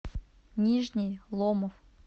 нижний ломов